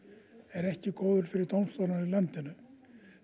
er ekki góður fyrir dómstólana í landinu